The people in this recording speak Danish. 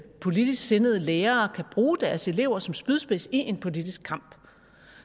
politisk sindede lærerne kan bruge deres elever som spydspids i en politisk kamp